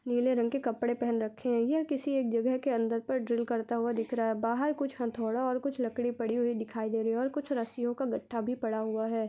नीले रंग के कपड़े पहन रखे है यह किसी एक जगह के अंदर पर ड्रिल करता हुआ दिख रहा है बाहर कुछ हथौड़ा और लकड़ी पड़ी हुई दिखाई दे रही है और कुछ रस्सियों का गट्ठा भी पड़ा हुआ है।